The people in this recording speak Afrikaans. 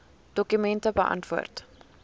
dokument beantwoord